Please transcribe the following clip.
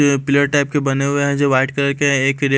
ये pillar type के बने हुए हैं जो वाइट कलर के हैं एक रे--